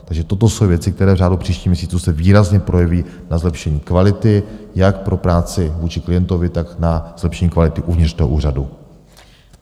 Takže toto jsou věci, které v řádu příštích měsíců se výrazně projeví na zlepšení kvality jak pro práci vůči klientovi, tak na zlepšení kvality uvnitř toho úřadu.